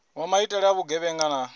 wa maitele a vhugevhenga na